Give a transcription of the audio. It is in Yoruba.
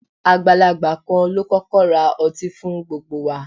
Agbalagba kan lo kọkọ ra ọti fun gbogbo wa